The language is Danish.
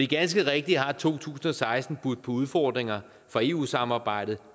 ganske rigtigt at to tusind og seksten har budt på udfordringer for eu samarbejdet